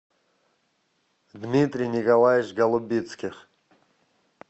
дмитрий николаевич голубицких